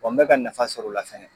Ɔ n bɛ ka nafa sɔrɔ o la fɛnɛ.